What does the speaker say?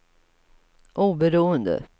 oberoende